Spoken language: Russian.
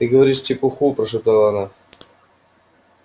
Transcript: ты говоришь чепуху прошептала она